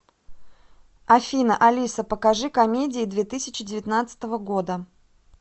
афина алиса покажи комедии две тысячи девятнадцатого года